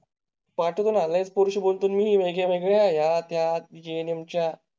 पाठवतो ना लई पुरुषी बोलतो. मी वेगवेगळ्या त्या जेम्स च्या